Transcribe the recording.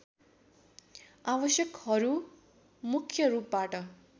आवश्यकहरू मुख्य रूपबाट